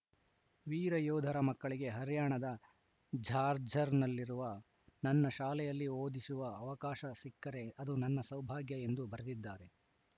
ವೀರ ಯೋಧರ ಮಕ್ಕಳಿಗೆ ಹರ್ಯಾಣದ ಝಾಜ್ಜರ್‌ನಲ್ಲಿರುವ ನನ್ನ ಶಾಲೆಯಲ್ಲಿ ಓದಿಸುವ ಅವಕಾಶ ಸಿಕ್ಕರೆ ಅದು ನನ್ನ ಸೌಭಾಗ್ಯ ಎಂದು ಬರೆದಿದ್ದಾರೆ